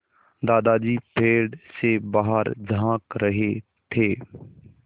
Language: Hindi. दादाजी पेड़ से बाहर झाँक रहे थे